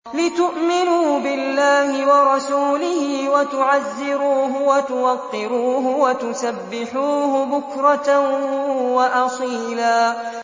لِّتُؤْمِنُوا بِاللَّهِ وَرَسُولِهِ وَتُعَزِّرُوهُ وَتُوَقِّرُوهُ وَتُسَبِّحُوهُ بُكْرَةً وَأَصِيلًا